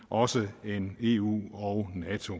også end eu og nato